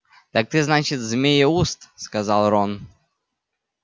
так ты значит змееуст сказал рон